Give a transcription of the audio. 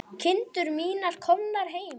Kindur mínar komnar heim.